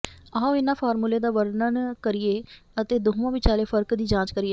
ਆਓ ਇਹਨਾਂ ਫਾਰਮੂਲੇ ਦਾ ਵਰਣਨ ਕਰੀਏ ਅਤੇ ਦੋਵਾਂ ਵਿਚਾਲੇ ਫਰਕ ਦੀ ਜਾਂਚ ਕਰੀਏ